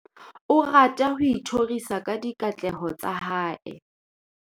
O rata ho ithorisa ka dikatleho tsa hae.